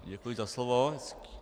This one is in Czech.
Děkuji za slovo.